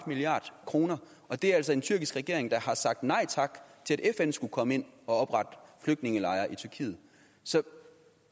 milliard kroner det er altså en tyrkisk regering der har sagt nej tak til at fn skulle komme ind og oprette flygtningelejre i tyrkiet så